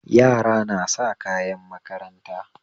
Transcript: Yara nasa kayan makaranta